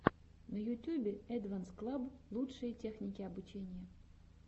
на ютюбе эдванс клаб лучшие техники обучения